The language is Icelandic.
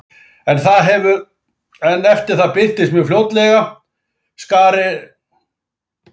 En eftir það birtist mjög fljótlega skari af býjum og settist að krásinni.